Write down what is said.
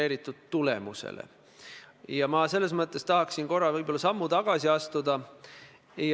Nii et ilusad lipud on seal Valges saalis, ilusad, kõige ilusamad lipud, mis saavad olla.